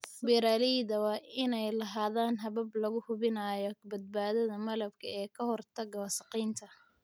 Beeralayda waa inay lahaadaan habab lagu hubinayo badbaadada malabka ee ka hortagga wasakheynta.